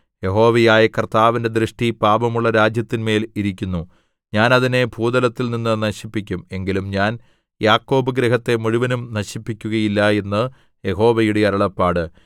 യഹോവയായ കർത്താവിന്റെ ദൃഷ്ടി പാപമുള്ള രാജ്യത്തിന്മേൽ ഇരിക്കുന്നു ഞാൻ അതിനെ ഭൂതലത്തിൽനിന്ന് നശിപ്പിക്കും എങ്കിലും ഞാൻ യാക്കോബ് ഗൃഹത്തെ മുഴുവനും നശിപ്പിക്കുകയില്ല എന്ന് യഹോവയുടെ അരുളപ്പാട്